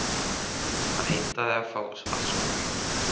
Hann heimtar að fá að skutla honum.